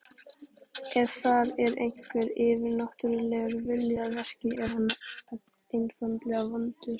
Ef þar er einhver yfirnáttúrulegur vilji að verki, er hann einfaldlega vondur.